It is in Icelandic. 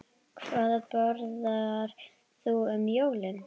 Hvað borðar þú um jólin?